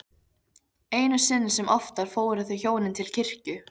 Einu sinni sem oftar fóru þau hjónin til kirkju.